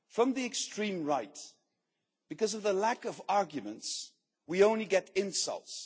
From the extreme right, because of their lack of arguments, we only get insults.